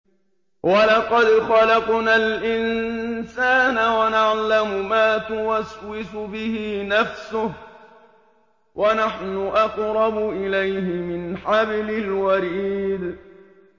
وَلَقَدْ خَلَقْنَا الْإِنسَانَ وَنَعْلَمُ مَا تُوَسْوِسُ بِهِ نَفْسُهُ ۖ وَنَحْنُ أَقْرَبُ إِلَيْهِ مِنْ حَبْلِ الْوَرِيدِ